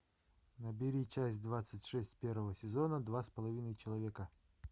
набери часть двадцать шесть первого сезона два с половиной человека